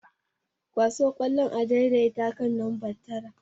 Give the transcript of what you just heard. Kwaso ƙwallon a daidai kan namba taran.